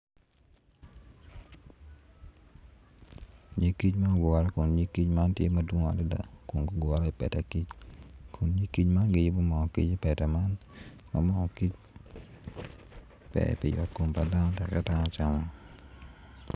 Nyig kic ma ogure kun nyig kic man dwong adada kun gugure i peta kic kun nyig kic man giyubo mo gi i peta kic kun mo kic ber pi yot kom pa dano tekka dano camo.